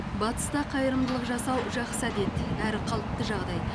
батыста қайырымдылық жасау жақсы әдет әрі қалыпты жағдай